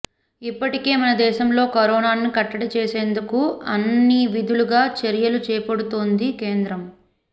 ఇప్పటికే మన దేశంలో కరోనాను కట్టడి చేసేందుకు అన్నివిధాలుగా చర్యలు చేపడుతోంది కేంద్రం